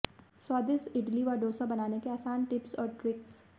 स्वादिष्ट इडली व डोसा बनाने के आसान टिप्स और ट्रिक्स